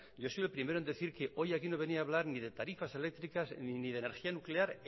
yo soy el primero en decir que hoy aquí no venía a hablar ni de tarifas eléctricas ni de energía nuclear